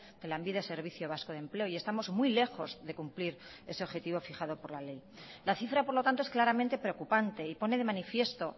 de lanbide servicio vasco de empleo y estamos muy lejos de cumplir ese objetivo fijado por la ley la cifra por lo tanto es claramente preocupante y pone de manifiesto